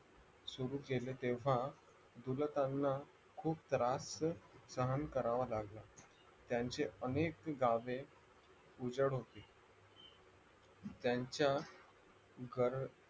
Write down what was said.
सुरू केले तेव्हा गुलताना खूप त्रास सहन करावा लागला त्यांचे अनेक गावे उजाड होती त्यांच्यागर